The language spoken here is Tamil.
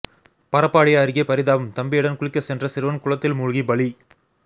பரப்பாடி அருகே பரிதாபம் தம்பியுடன் குளிக்கசென்ற சிறுவன் குளத்தில் மூழ்கி பலி